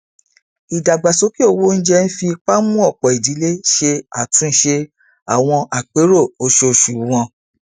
ìdàgbàsókè owó oúnjẹ ń fi ipa mú ọpọ idílé ṣe àtúnṣe àwọn àpérò oṣooṣu wọn